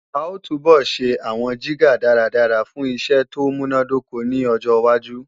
A ó túbọ̀ ṣe àwọn jígà dáradára fún iṣẹ́ tó múnádóko ní ọjọwájú